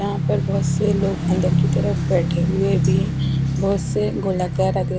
यहाँ पर बोहोत से लोग अनदर की तरफ बेठे हुए है भी बोहोत से गोलाकार--